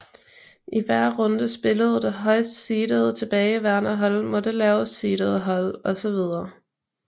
I hver runde spillede det højst seedede tilbageværende hold mod det lavest seedede hold osv